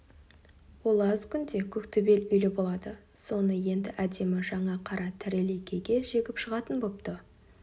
ол аз күнде көк төбел үйлі болады соны енді әдемі жаңа қара тарелейкеге жегіп шығатын бопты